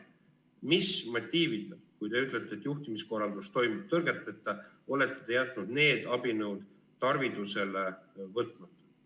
Mis motiivil, kui te ütlete, et juhtimiskorraldus toimib tõrgeteta, olete te jätnud need abinõud tarvitusele võtmata?